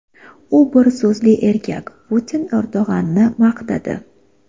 U bir so‘zli erkak – Putin Erdo‘g‘anni maqtadi.